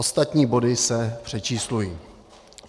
Ostatní body se přečíslují."